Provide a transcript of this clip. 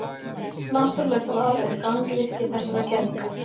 Náttúrlegt val er gangvirki þessarar kenningar.